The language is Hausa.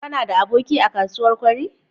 Kanada aboki a kasuwar kwari?